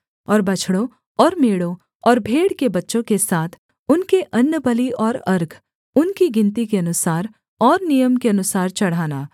और बछड़ों और मेढ़ों और भेड़ के बच्चों के साथ उनके अन्नबलि और अर्घ उनकी गिनती के अनुसार और नियम के अनुसार चढ़ाना